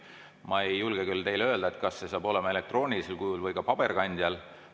Ma ei julge küll teile öelda, kas see saab olema vaid elektroonilisel kujul või ka paberkandjal.